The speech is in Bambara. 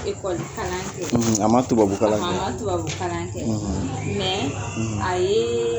ekoli kalan kɛ a ma tubabu kalan kɛ a ma tubabu kalan kɛ mɛ a yee